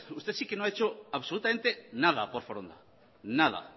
usted sí que no ha hecho absolutamente nada por foronda nada